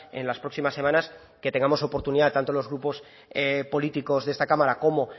en las próximas semanas que tengamos oportunidad tanto los grupos políticos de esta cámara como